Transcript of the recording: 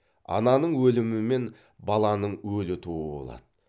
ананың өлімі мен баланың өлі тууы болады